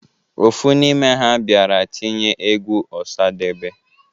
Ofu n'ime ha bịara tinye egwu Ọsadebe.